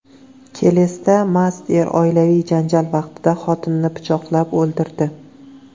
Kelesda mast er oilaviy janjal vaqtida xotinini pichoqlab o‘ldirdi.